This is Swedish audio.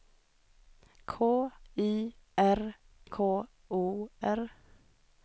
K Y R K O R